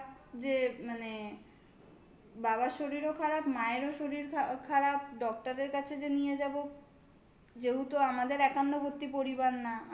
খারাপ যে মানে বাবার শরীরও খারাপ. মায়েরও শরীর খারাপ. doctor এর কাছে যে নিয়ে যাবো যেহেতু আমাদের একান্নবর্তী পরিবার না.